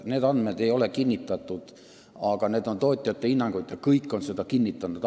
Need andmed ei ole kinnitatud, aga need on tootjate hinnangud – kõik on seda kinnitanud.